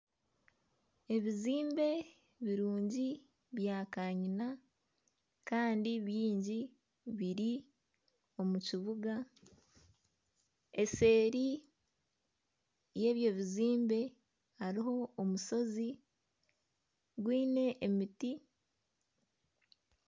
Ebizimbe birungi bya kanyina Kandi byingi biri omu kibuga. Eseeri yebyo bizimbe hariho omushozi gwiine emiti.